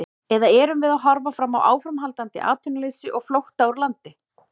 Eða erum við að horfa fram á áframhaldandi atvinnuleysi og flótta úr landi?